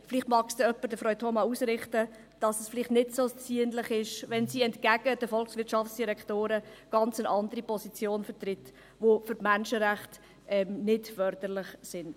Vielleicht mag es jemand Frau Thoma ausrichten, dass es sich vielleicht nicht so ziemt, wenn sie entgegen den Volkswirtschaftsdirektoren eine ganz andere Position vertritt, die den Menschenrechten nicht förderlich ist.